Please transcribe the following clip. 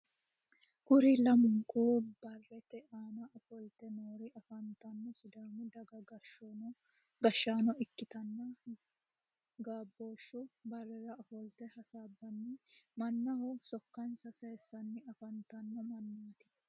Kuri lamunku barete aanna ofolte noori afantino sidaamu daga gashaano ikitanna gabooshu Barera ofolte hasaabanni mannaho sokansa sayisanni afantano mannaati.